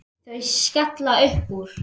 Þau skella upp úr.